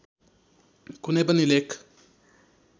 कुनै पनि लेख